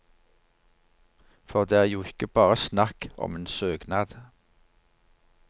For det er jo ikke bare snakk om en søknad.